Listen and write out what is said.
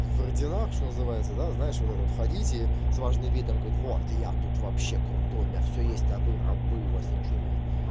вроде наш называется да знаешь вот этот ходите с важным видом говорит я тут вообще крутой меня все есть а вы рабы вас ничего нет